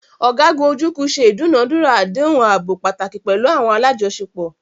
Ọ̀gágun Ojukwu ṣe ìdúnàádúrà àdéhùn ààbò pàtàkì pẹ̀lú àwọn alájọṣepọ̀.